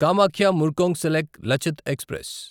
Kamakhya Murkongselek Lachit express